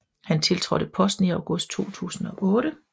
Han tiltrådte posten i august 2008